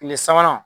Tile sabanan